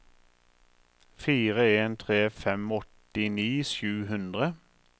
fire en tre fem åttini sju hundre